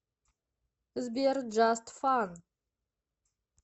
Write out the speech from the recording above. сбер джаст фан